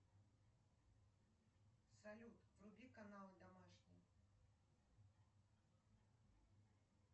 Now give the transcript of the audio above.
салют вруби канал домашний